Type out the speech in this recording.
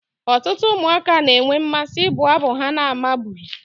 Ọtụtụ ụmụaka na-enwe mmasị ịbụ abụ ha na-amabughị